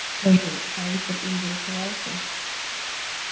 скажи хантер интересовался